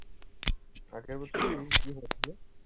আগের বছর কী হয়েছিল?